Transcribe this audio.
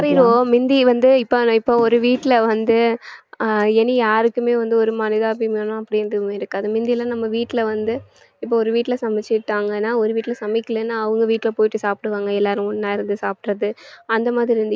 மாறிருவோம் மிந்தி வந்து இப்போ ஒரு வீட்ல வந்து ஆஹ் இனி யாருக்குமே வந்து ஒரு மனிதாபிமானம் அப்படின்றது இருக்காது மிந்தியெல்லாம் நம்ம வீட்டுல வந்து இப்ப ஒரு வீட்டுல சமைச்சுட்டாங்கன்னா ஒரு வீட்டுல சமைக்கலைன்னா அவங்க வீட்டுல போயிட்டு சாப்பிடுவாங்க எல்லாரும் ஒண்ணா இருந்து சாப்பிடறது அந்த மாதிரி